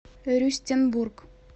рюстенбург